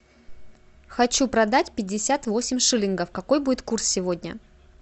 хочу продать пятьдесят восемь шиллингов какой будет курс сегодня